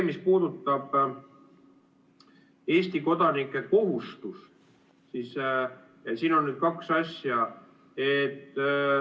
Mis puudutab Eesti kodanike kohustust, siis siin on kaks asja.